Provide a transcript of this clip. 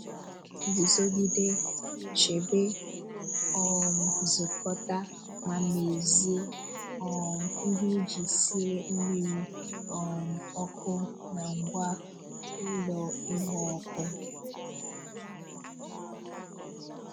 Guzogide, chebe, um zukọta, ma mezie um ihe iji sie mmiri um oku na ngwa ụlọ ịgba ọkụ.